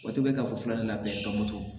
O tɛ ka fɔ ne la bɛn tɔnbɔtɔn